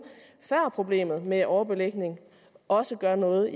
før problemet med overbelægning også gør noget